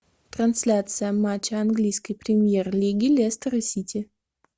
трансляция матча английской премьер лиги лестер и сити